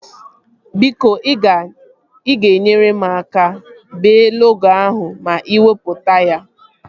Biko ị ga-nyere m aka bee logo ahụ ma iwepụta ya